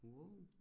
Wow